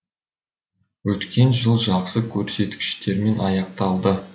өткен жыл жақсы көрсеткіштермен аяқталды